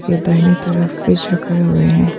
दाहिने तरफ फ्रिज रखे हुए हैं।